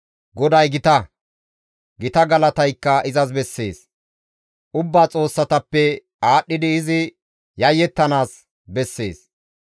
GODAY gita; gita galataykka izas bessees; ubba xoossatappe aadhdhidi izi yayettanaas bessees.